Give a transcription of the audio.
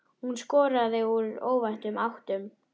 Hún skoraði úr óvæntum áttum.